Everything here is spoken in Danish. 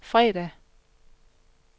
fredag